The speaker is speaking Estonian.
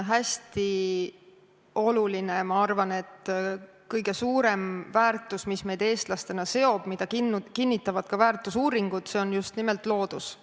Hästi oluline ja ma arvan, et kõige suurem väärtus, mis meid eestlastena seob, mida kinnitavad ka väärtusuuringud, on just nimelt loodus.